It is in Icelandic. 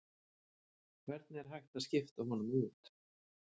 Hvernig er hægt að skipta honum út?